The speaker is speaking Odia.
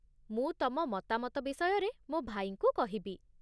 ମୁଁ ତମ ମତାମତ ବିଷୟରେ ମୋ ଭାଇଙ୍କୁ କହିବି